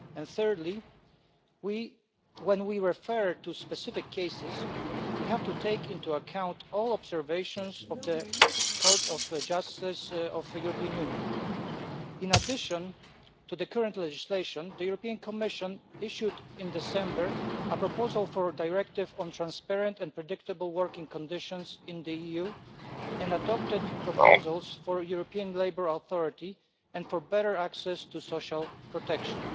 Thirdly, when we refer to specific cases, we have to take into account all the observations of the Court of Justice of the European Union. In addition to the current legislation, the Commission issued in December a proposal for a directive on transparent and predictable working conditions in the EU and adopted proposals for a European labour authority and for better access to social protection.